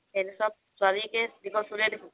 তেনেকুৱা ছোৱালি